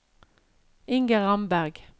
Inger Ramberg